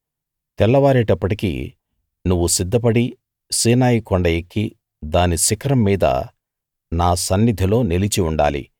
తెల్లవారేటప్పటికి నువ్వు సిద్ధపడి సీనాయి కొండ ఎక్కి దాని శిఖరం మీద నా సన్నిధిలో నిలిచి ఉండాలి